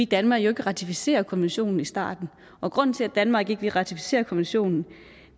danmark ikke ratificere konventionen i starten og grunden til at danmark ikke ville ratificere konventionen